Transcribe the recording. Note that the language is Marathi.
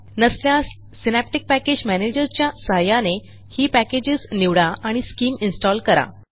नसल्यास सिनॅप्टिक पॅकेज Managerच्या सहाय्याने ही पॅकेजेस निवडा आणि स्किम इन्स्टॉल करा